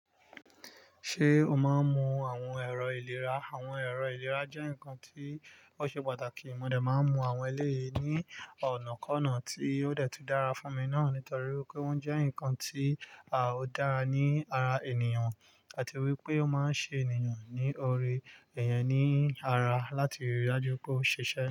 Ṣé o máa ń mu àwọn ẹ̀rọ ìlera? Àwọn ẹ̀rọ ìlera jẹ́ ǹkan tí ó ṣe pàtàkì. Mo de máa ń mu àwọn ẹlẹ́yìí ní ọ̀nà kọ́na tí ó dẹ̀ tun dára fún mi náà nítorí wipé wọ́n jẹ́ nǹkan tí ó dára ní ara ènìyàn àti wípé ó máa ń ṣe ènìyàn ní ore iyẹn ní ara láti rí dájú pé ó ṣiṣẹ́.